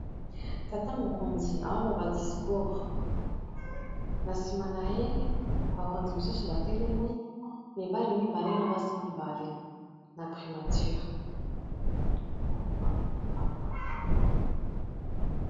Tata mokonzi azoloba discours, na sima na ye bakonzi misusu batelemi, mibali mibale na basi mibale na primature.